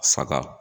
Saga